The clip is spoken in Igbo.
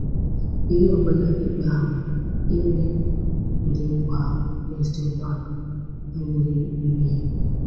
Ihe ọ bụla ikpe ahụ bụ, ime ụdị nkwa ahụ abụghị mmehie.